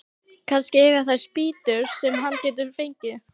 Kannski eiga þeir spýtur sem hann getur fengið.